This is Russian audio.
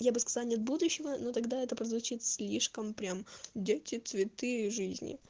я бы сказал нет будущего ну тогда это прозвучит слишком прям дети цветы жизни